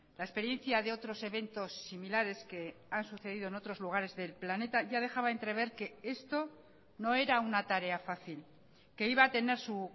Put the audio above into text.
la experiencia de otros eventos similares que han sucedido en otros lugares del planeta ya dejaba entrever que esto no era una tarea fácil que iba a tener su